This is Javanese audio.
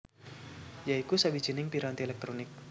ya iku sawijining piranti elektronik